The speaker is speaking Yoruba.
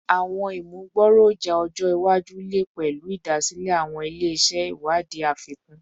Awọn imugboroja ọjọ iwaju le pẹlu idasile awọn ile-iṣẹ iwadii afikun